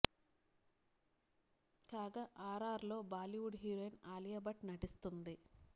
కాగా R R R లో Bollywood heroine Alia Bhatt నటిస్తుంది